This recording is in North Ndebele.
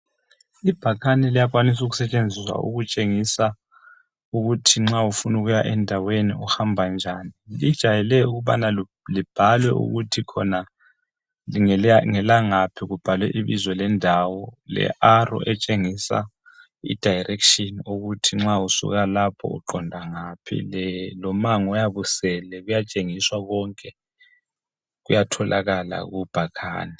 Ibhakane liyakwanisa ukusetshenziswa ukutshengisa ukuthi nxa ufuna ukuya endaweni uhamba njani. Lijayele ukubana libhalwe ukuthi khona ngelangaphi kubhalwe ibizo lendawo learrow etshengisa idirection ukuthi nxa usuka lapho uqonda ngaphi lomango oyabe usele kuyatshengiswa konke kuyatholakala kubhakhane.